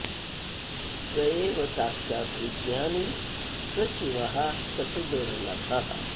स एव साक्षाद्विज्ञानी स शिवः स तु दुर्लभः